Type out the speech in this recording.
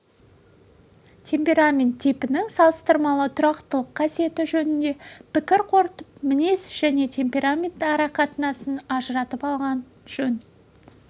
темперамент типінің салыстырмалы тұрақтылық қасиеті жөнінде пікір қорытып мінез және темперамент ара қатынасын ажыратып алған жөн